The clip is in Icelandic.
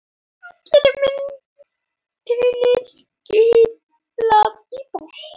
Allri myntinni skilað í banka